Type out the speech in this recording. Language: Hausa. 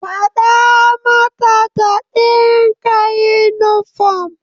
Fada mata ta dinka yunifom.